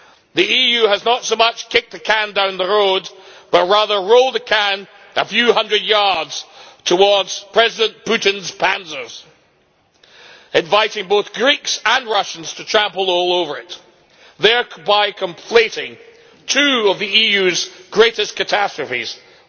The EU has not so much kicked the can down the road but rather rolled the can a few hundred yards towards President Putin's panzers, inviting both Greeks and Russians to trample all over it, thereby conflating two of the EU's greatest catastrophes firstly,